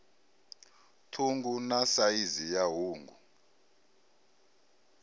ṱhungu na saizi ya hungu